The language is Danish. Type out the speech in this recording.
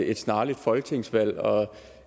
et snarligt folketingsvalg og